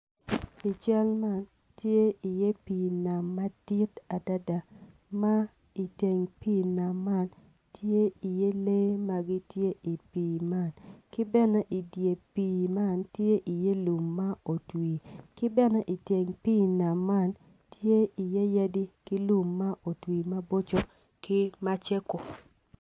I cal man tye pii nam madit adada ma i teng pii nam man tye iye lee ma gitye i pii man ki bene i dye pii man tye lum ma bene otwi ki bene i teng pii nam man tye iye yadi ki lum ma otwi maboco ki macego.